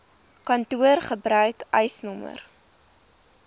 kantoor gebruik eisnr